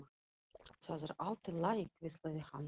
Það er allt í lagi hvíslaði hann.